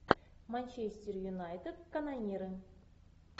манчестер юнайтед канониры